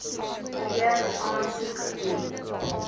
weer aansoek doen